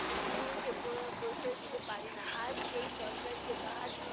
স্নেহকে প~ প্রশ্রয় দিতে পারিনা। আজ এই সরকারকে তাহার